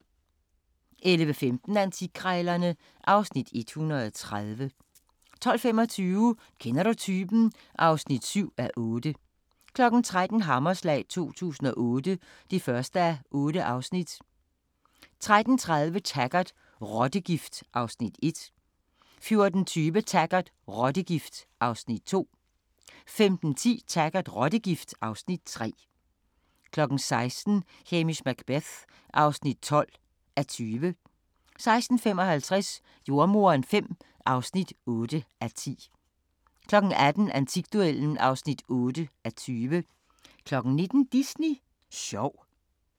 11:15: Antikkrejlerne (Afs. 130) 12:25: Kender du typen? (7:8) 13:00: Hammerslag 2008 (1:8) 13:30: Taggart: Rottegift (Afs. 1) 14:20: Taggart: Rottegift (Afs. 2) 15:10: Taggart: Rottegift (Afs. 3) 16:00: Hamish Macbeth (12:20) 16:55: Jordemoderen V (8:10) 18:00: Antikduellen (8:20) 19:00: Disney sjov